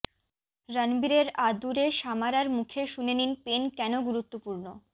রণবীরের আদুরে সামারার মুখে শুনে নিন পেন কেন গুরুত্বপূর্ণ